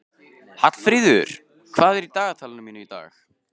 Hallfríður, hvað er í dagatalinu mínu í dag?